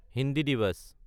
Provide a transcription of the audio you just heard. Hindi Diwas